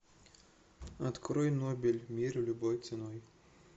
открой нобель мир любой ценой